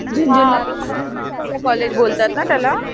हां कॉलेज बोलतात ना त्याला.